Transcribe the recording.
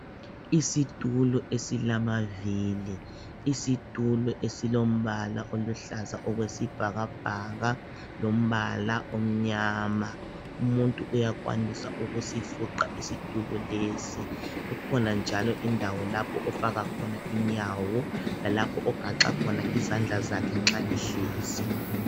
Isitulo esilamavili. Isitulo esilombala oluhlaza okwesibhakabhaka lombala omnyama. Umuntu uyakwanisa ukusifuqa isitulo lesi kukhona njalo indawo lapho ofaka khona inyawo lalapho ogaxa khona izandla zakhe nxa ehlezi.